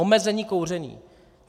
Omezení kouření.